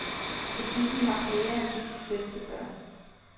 Butikken har flere af disse sæt til børn.